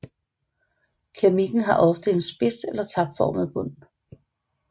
Keramikken har ofte en spids eller tapformet bund